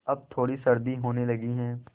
अब थोड़ी सर्दी होने लगी है